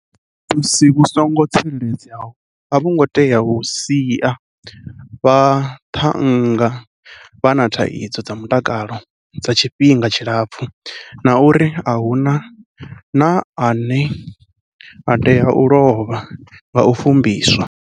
Vhufumbisi vhu songo tsireledzeaho a vhu ngo tea u sia vhaṱhannga vha na thaidzo dza mutakalo dza tshifhinga tshilapfu, na uri a hu na ane a tea u lovha nga u fumbiswa.